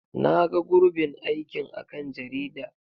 Na ga gurɓin aikin a kan jarida.